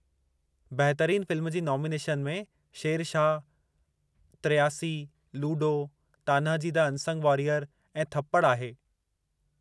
बहितरीन फ़िल्म जी नॉमिनेशन में Shershaah, 83, Ludo, Tanhaji the unsung warrior ऐं थप्पड़ आहे।